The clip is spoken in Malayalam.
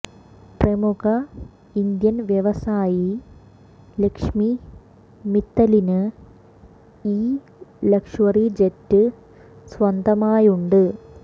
പ്രമുഖ ഇന്ത്യൻ വ്യവസായി ലക്ഷ്മി മിത്തലിന് ഈ ലക്ഷ്വറി ജെറ്റ് സ്വന്തമായുണ്ട്